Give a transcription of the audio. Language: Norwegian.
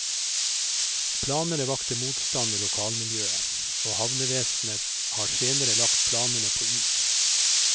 Planene vakte motstand i lokalmiljøet og havnevesenet har senere lagt planene på is.